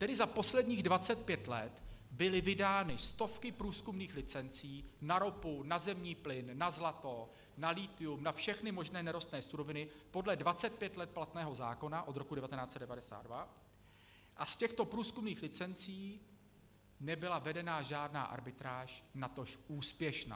Tedy za posledních 25 let byly vydány stovky průzkumných licencí na ropu, na zemní plyn, na zlato, na lithium, na všechny možné nerostné suroviny podle 25 let platného zákona od roku 1992, a z těchto průzkumných licencí nebyla vedena žádná arbitráž, natož úspěšná.